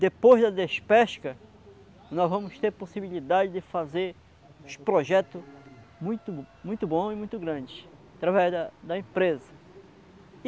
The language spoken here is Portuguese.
Depois da despesca, nós vamos ter possibilidade de fazer uns projetos muito muito bons e muito grandes, através da da empresa.